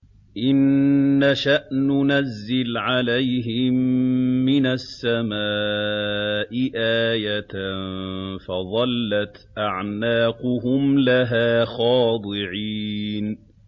إِن نَّشَأْ نُنَزِّلْ عَلَيْهِم مِّنَ السَّمَاءِ آيَةً فَظَلَّتْ أَعْنَاقُهُمْ لَهَا خَاضِعِينَ